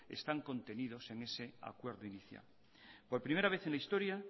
están contenidos en ese acuerdo inicial por primera vez en la historia